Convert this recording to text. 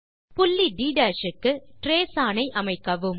புள்ளி ட் க்கு ட்ரேஸ் ஒன் ஐ அமைக்கவும்